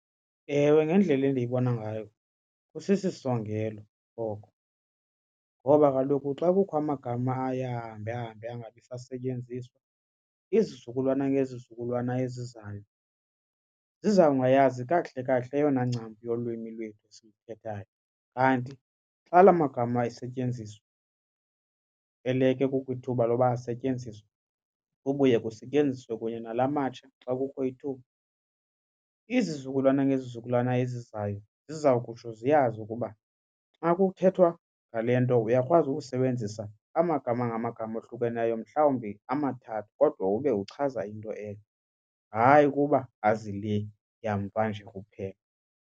Ewe, ngendlela endiyibona ngayo kusisisongelo oko ngoba kaloku xa kukho amagama aye ahambe ahambe angabi sasetyenziswa izizukulwana ngezizukulwana ezizayo ziza kungayazi kakuhle kakuhle eyona ncam yolwimi lwethu esiluthethayo. Kanti xa la magama esetyenziswa eleke kukho ithuba loba asetyenziswe kubuywe kusetyenziswe kunye nala matsha xa kukho ithuba izizukulwana ngezizukulwana ezizayo ziza kutsho ziyazi ukuba xa kuthethwa ngale nto uyakwazi ukusebenzisa amagama ngamagama ohlukeneyo mhlawumbi amathathu kodwa ube uchaza into enye, hayi ukuba azi le yamva nje kuphela.